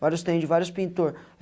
Vários trem de vários pintor.